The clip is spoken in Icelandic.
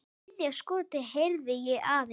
Þriðja skotið heyrði ég aðeins.